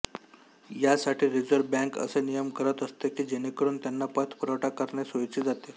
यासाठी reserve bank असे नियम करत असते की जेणेकरून त्यांना पतपुरवठा करणे सोइचे जाते